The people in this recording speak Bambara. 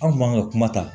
An kun man ka kuma ta